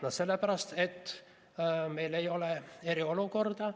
No sellepärast, et meil ei ole eriolukorda.